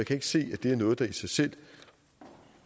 kan ikke se at det er noget der i sig selv